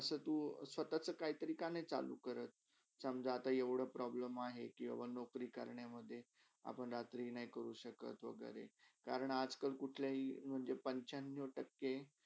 असा तू, स्वतचा काहीतरी का नय चालू करत? समझा आता एवडा problem आहे करण्यामधे कि आपण रात्री नय करू शक्त वागेरे कारण आज -कल तर कुठल्याही म्हणजे पंच्यानव टक्के